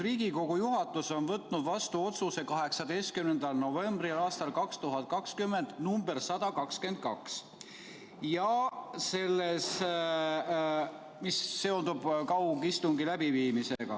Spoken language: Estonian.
Riigikogu juhatus on võtnud 18. novembril aastal 2020 vastu otsuse nr 122, mis käsitleb kaugistungi läbiviimist.